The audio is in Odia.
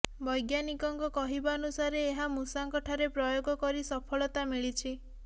ବୈଜ୍ଞାନିକଙ୍କ କହିବାନୁସାରେ ଏହା ମୂଷାଙ୍କ ଠାରେ ପ୍ରୟୋଗ କରି ସଫଳତା ମିଳିଛି